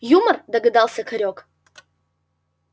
юмор догадался хорёк